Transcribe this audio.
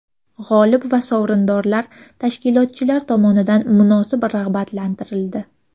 G‘olib va sovrindorlar tashkilotchilar tomonidan munosib rag‘batlantirildi.